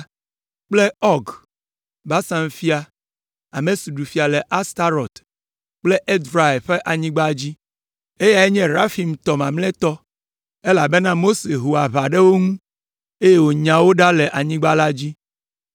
kple Ɔg, Basan fia, ame si ɖu fia le Astarot kple Edrei la ƒe anyigba. Eyae nye Refaimtɔ mamlɛtɔ, elabena Mose ho aʋa ɖe wo ŋu, eye wònya wo ɖa le anyigba la dzi.